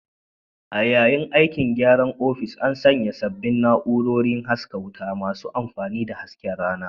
A yayin aikin gyaran ofis, an sanya sabbin na'urorin hasken wuta masu amfani da hasken rana